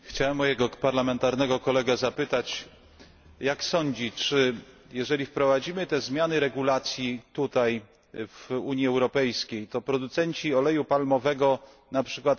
Chciałbym mojego parlamentarnego kolegę zapytać, czy sądzi, że jeżeli wprowadzimy te zmiany do regulacji Unii Europejskiej, to producenci oleju palmowego np.